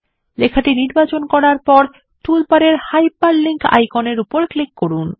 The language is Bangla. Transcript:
লেখাটি নির্বাচন করার পর টুলবারের হাইপারলিঙ্ক আইকনের উপর ক্লিক করুন